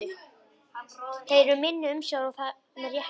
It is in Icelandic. Þeir eru í minni umsjá og það með réttu.